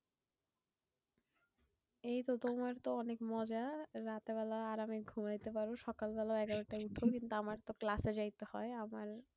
এই তো তোমার তো অনেক মজা। রাতের বেলায় আরাম এ ঘুমাতে পারো। সকাল বেলায় এগারোটায় উঠো। কিন্তু আমার তো class এ যাইতে হয়। আমার